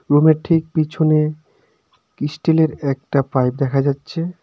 রুমের ঠিক পিছনে ইস্টিলের একটা পাইপ দেখা যাচ্ছে.